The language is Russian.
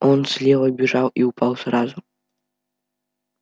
он слева бежал и упал сразу